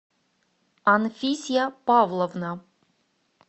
анфисья павловна